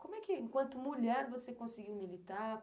Como é que, enquanto mulher, você conseguiu militar?